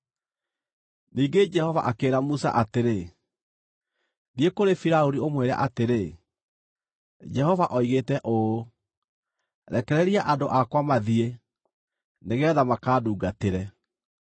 Ningĩ Jehova akĩĩra Musa atĩrĩ, “Thiĩ kũrĩ Firaũni ũmwĩre atĩrĩ, ‘Jehova oigĩte ũũ: Rekereria andũ akwa mathiĩ, nĩgeetha makandungatĩre.